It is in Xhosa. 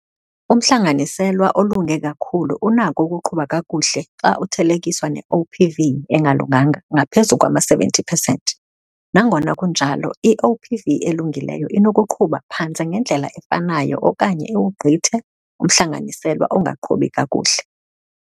Umhlanganiselwa olunge kakhulu unako ukuqhuba kakuhle xa uthelekiswa ne-OPV engalunganga ngaphezu kwama-70 percent. Nangona kunjalo, i-OPV elungileyo inokuqhuba phantse ngendlela efanayo okanye iwugqithe umhlanganiselwa ongaqhubi kakuhle.